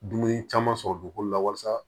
Dumuni caman sɔrɔ dugukolo la walasa